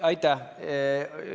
Aitäh!